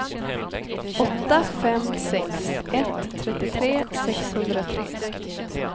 åtta fem sex ett trettiotre sexhundratre